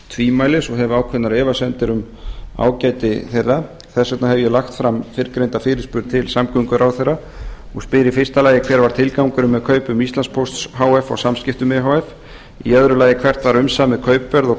tvímælis og hef ákveðnar efasemdir um ágæti þeirra þess vegna hef ég lagt fram fyrrgreinda fyrirspurn til samgönguráðherra og spyr fyrstu hver var tilgangurinn með kaupum íslandspósts h f á samskiptum e h f annað hvert var umsamið kaupverð og